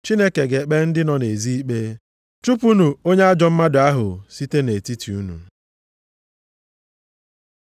Chineke ga-ekpe ndị nọ nʼezi ikpe. “Chụpụnụ onye ajọọ mmadụ ahụ site nʼetiti unu.” + 5:13 \+xt Dit 17:7; 19:19; 21:21; 22:21,24; 24:7\+xt*